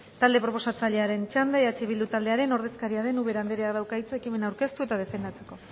talde proposatzailearen txanda eh bildu taldearen ordezkaria den ubera andereak dauka hitza ekimena aurkeztu eta defendatzeko